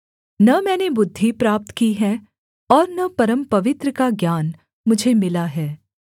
न मैंने बुद्धि प्राप्त की है और न परमपवित्र का ज्ञान मुझे मिला है